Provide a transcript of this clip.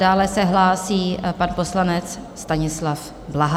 Dále se hlásí pan poslanec Stanislav Blaha.